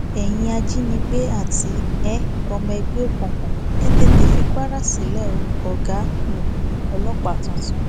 ẹyin ajínigbé àti um ọmọ ẹgbẹ òkùnkùn ẹ tètè fi kwara sílẹ o ọgá um ọlọpàá tuntun